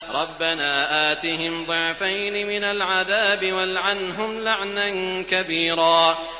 رَبَّنَا آتِهِمْ ضِعْفَيْنِ مِنَ الْعَذَابِ وَالْعَنْهُمْ لَعْنًا كَبِيرًا